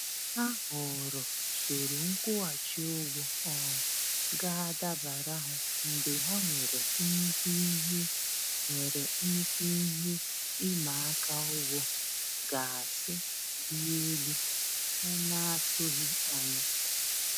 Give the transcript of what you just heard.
Ha họọrọ usoro nkwụghachị ụgwọ um ga-adabara ha mgbe ha nwere nnukwu ihe nwere nnukwu ihe ịmaaka ụgwọ gaasị dị elu ha n'atụghị anya.